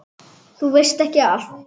Þú veist ekki allt.